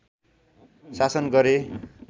शासन गरे